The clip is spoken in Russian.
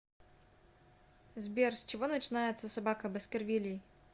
сбер с чего начинается собака баскервилей